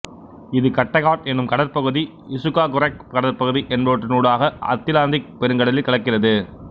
இது கட்டெகாட் என்னும் கடற்பகுதி இசுக்காகெராக் கடற்பகுதி என்பவற்றினூடாக அத்திலாந்திக் பெருங்கடலில் கலக்கிறது